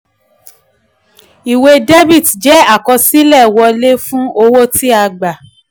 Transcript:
ìwé debit jẹ́ àkọsílẹ̀ wọlé fún owó tí a gba.